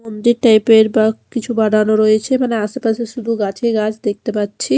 মন্দির টাইপ -এর ব কিছু বানানো রয়েছে মানে আশেপাশে শুধু গাছই গাছ দেখতে পাচ্ছি।